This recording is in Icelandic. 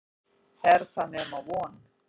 Er það nema von?